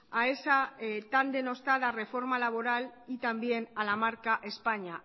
a esa tan denostada reforma laboral y también a la marca españa